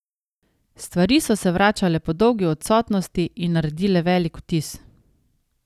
Stvari so se vračale po dolgi odsotnosti in naredile velik vtis.